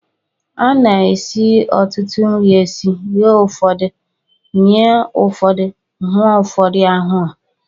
A na-esi ọtụtụ nri esi, ghee ụfọdụ, mịa maọbụ hụọ ụfọdụ ahụọ